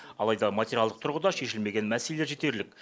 алайда материалдық тұрғыда шешілмеген мәселелер жетерлік